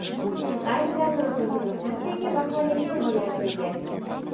Siz ayni damda o‘zingizni qanchaga baholagan bo‘lardingiz?